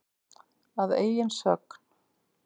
Að eigin sögn.